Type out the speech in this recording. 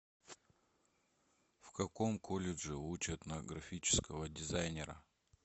в каком колледже учат на графического дизайнера